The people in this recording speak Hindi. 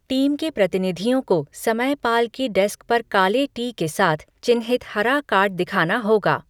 टीम के प्रतिनिधियों को समयपाल की डेस्क पर काले टी के साथ चिह्नित हरा कार्ड दिखाना होगा।